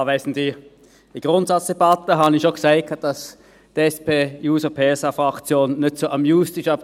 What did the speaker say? In der Grundsatzdebatte habe ich schon gesagt, dass die SPJUSO-PSA Fraktion nicht so «amused» ist über